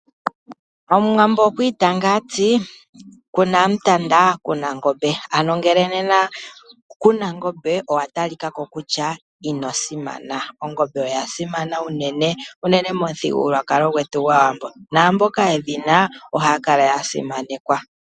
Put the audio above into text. Omuwambo okwi itanga ati “ku na mutanda ku na ngombe”, ano nena ngele ku na ongombe owa talika ko kutya ino simana. Ongombe oya simana uunene momuthigulwakalo gwetu gwaawambo. Naa mboka yedhina ohaya kala ya simanekwa.